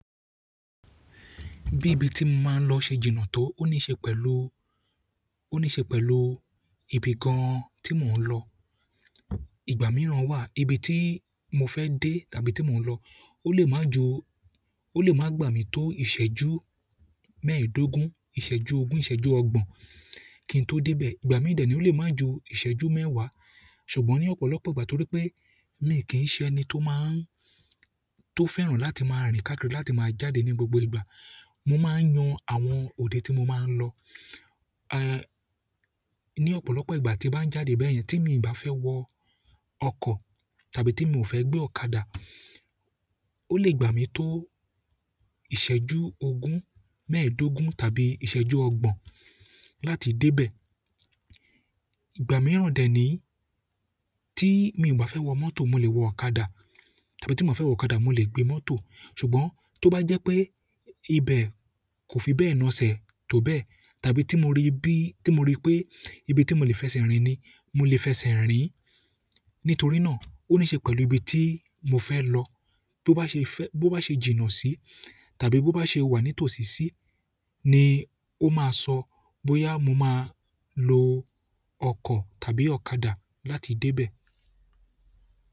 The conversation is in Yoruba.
Bi ibi ti mo maa n lo se ji náà to oni se pẹ̀lú ibi kan. Ìgbà mìíràn wà, ibi tí mo fẹ́ dé tàbí tí mò ń lọ, ó lè máa ju, ó lè máa gbà mí tó ìṣẹ́jú mẹ́ẹ̀ẹ́dógún, ìṣẹ́jú ogún, ìṣẹ́jú ọgbọ̀n kí n tó dé bẹ̀. Ìgbà mìí dè ní ó lè máa ju ìṣẹ́jú mẹ́wàá. Ṣùgbọ́n ní ọ̀pọ̀lọpọ̀ ìgbà torí pé mi kì í ṣe ẹni tó máa ń, tó fẹ́ràn láti máa rìnkákírì, láti máa jáde ní gbogbo ìgbà, mo máa ń yan àwọn òde tí mo máa ń lọ. Ní ọ̀pọ̀lọpọ̀ ìgbà tí bá ń jáde bẹ́yẹn tí mi ò bá fẹ́ wọ ọkọ̀ tàbí tí mi ò fẹ́ gbé ọ̀kadà, ó lè gbà mí tó ìṣẹ́jú ogún mẹ́ẹ̀ẹ́dógún tàbí ìṣẹ́jú ọgbọ̀n láti dé bẹ̀. Ìgbà mìíràn dè ní tí mi ò bá fẹ́ wọ mọ́tò mo lè wọ ọ̀kadà tàbí tí m ba fẹ́ wọ ọ̀kadà mo lè gbé mọ́tò. Ṣùgbọ́n tó bá jẹ́ pé ibẹ̀ kò fi bẹ́ẹ̀ naaṣẹ̀ tó bẹ́ẹ̀ tàbí tí mo rí bí, tí mo rí pé ibi tí mo lè fẹsẹ̀ rìn ni mo lè fẹsẹ̀ rìn. Nítorí náà ó ní í ṣe pẹ̀lú ibi tí mo fẹ́ lọ. Tó bá ṣe fẹ́, bó bá ṣe jìnnà sí tàbí bó bá ṣe wà ní tòsìsí ni ó máa sọ bóyá mo máa lo ọkọ̀ tàbí ọ̀kadà láti dé bẹ̀.